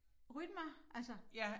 Rytmer? Altså